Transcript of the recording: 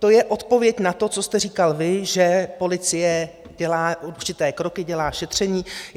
To je odpověď na to, co jste říkal vy, že policie dělá určité kroky, dělá šetření.